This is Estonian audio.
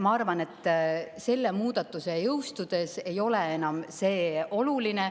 Ma arvan, et selle muudatuse jõustudes ei ole see enam oluline.